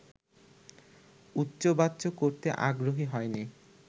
উচ্চবাচ্য করতে আগ্রহী হয়নি